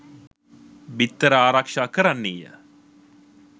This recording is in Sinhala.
බිත්තර ආරක්ෂා කරන්නීය.